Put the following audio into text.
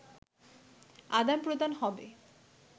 আদান প্রদান হবে